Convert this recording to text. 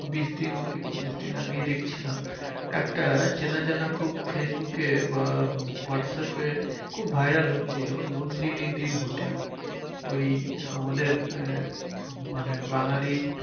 বিশ দিন কি পঁচিশ দিন আগেই দেখছিলাম। একটা চেনা জানা খুব ফেসবুকে বা হোয়াটস্যাপে খুব viral হচ্ছিলো, নন্দিনী দির হোটেল। ওই আমাদের আহ মানে বাঙালি